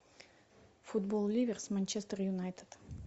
футбол ливер с манчестер юнайтед